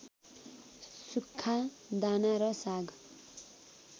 सुक्खा दाना र साग